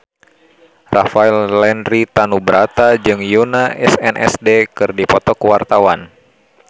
Rafael Landry Tanubrata jeung Yoona SNSD keur dipoto ku wartawan